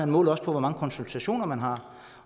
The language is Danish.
måler også på hvor mange konsultationer man har